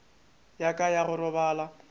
ya ka ya go robala